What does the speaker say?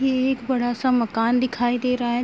ये एक बड़ा सा मकान दिखाई दे रहा है।